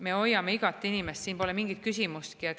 Me hoiame igat inimest, siin pole mingit küsimustki.